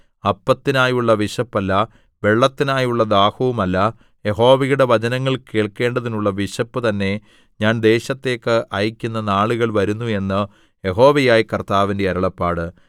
അപ്പത്തിനായുള്ള വിശപ്പല്ല വെള്ളത്തിനായുള്ള ദാഹവുമല്ല യഹോവയുടെ വചനങ്ങൾ കേൾക്കേണ്ടതിനുള്ള വിശപ്പു തന്നെ ഞാൻ ദേശത്തേക്ക് അയക്കുന്ന നാളുകൾ വരുന്നു എന്ന് യഹോവയായ കർത്താവിന്റെ അരുളപ്പാട്